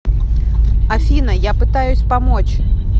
афина я пытаюсь помочь